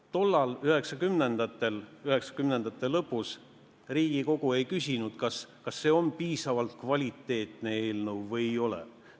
Tollal, 1990-ndatel, 1990-ndate lõpus Riigikogu ei küsinud, kas see on piisavalt kvaliteetne eelnõu või ei ole.